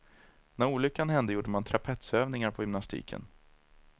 När olyckan hände gjorde man trapetsövningar på gymnastiken.